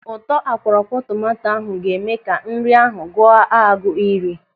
Ụtọ akwọrọakwọ tomanto ahụ ga-eme ka nri ahụ gụọ a gụrụ iri.